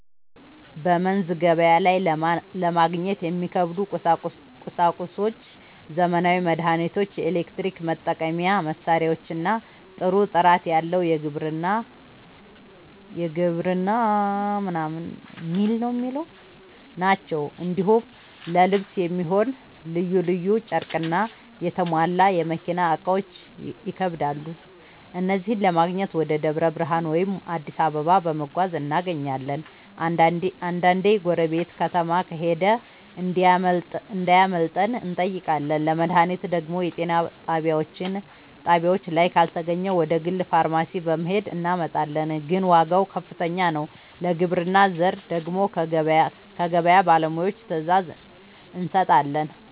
በመንዝ ገበያ ላይ ለማግኘት የሚከብዱ ቁሳቁሶች ዘመናዊ መድሃኒቶች፣ የኤሌክትሪክ መጠቀሚያ መሳሪያዎችና ጥሩ ጥራት ያለው የግብርና ᛢል ናቸው። እንዲሁም ለልብስ የሚሆን ልዩ ልዩ ጨርቅና የተሟላ የመኪና እቃዎች ይከብዳሉ። እነዚህን ለማግኘት ወደ ደብረ ብርሃን ወይም አዲስ አበባ በመጓዝ እናገኛለን፤ አንዳንዴ ጎረቤት ከተማ ከሄደ እንዲያመጣልን እንጠይቃለን። ለመድሃኒት ደግሞ የጤና ጣቢያችን ላይ ካልተገኘ ወደ ግል ፋርማሲ በመሄድ እናመጣለን፤ ግን ዋጋው ከፍተኛ ነው። ለግብርና ዘር ደግሞ ከገበያ ባለሙያዎች ትዕዛዝ እንሰጣለን።